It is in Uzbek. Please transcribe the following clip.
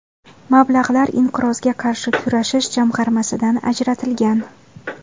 Mablag‘lar Inqirozga qarshi kurashish jamg‘armasidan ajratilgan.